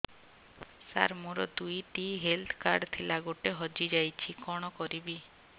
ସାର ମୋର ଦୁଇ ଟି ହେଲ୍ଥ କାର୍ଡ ଥିଲା ଗୋଟେ ହଜିଯାଇଛି କଣ କରିବି